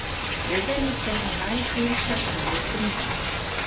Vedeli so, da najhujše šele pride.